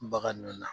Bagan ninnu na